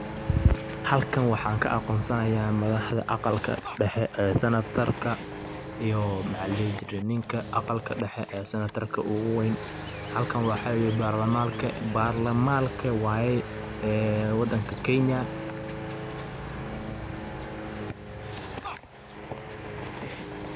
Halkaan waxaan kaa aqonsanaaya madaxdaa aqaalka dheexe ee sanataarka iyo maxa laa dihii jiire niinka aqaalka dheexe ee sanatarka ogu weyn. halkan waxa parlaamanka wayee ee wadaanka kenya.